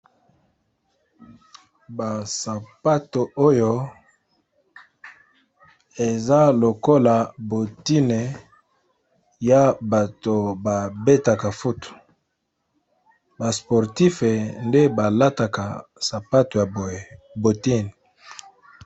Ba sapato oyo eza lokola bottine ya bato ba betaka foot ,ba sportif nde balataka sapato ya boye bottines.